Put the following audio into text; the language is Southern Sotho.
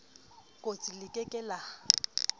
kostsi le ke ke la